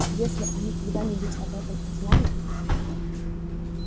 если они когда-нибудь об этом узнают